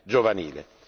giovanile.